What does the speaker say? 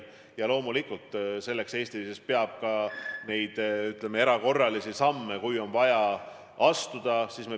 Ja loomulikult peab ka Eesti astuma erakorralisi samme, kui neid on vaja astuda.